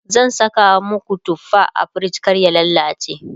zan Saka maku tufa a frij kar ya lallace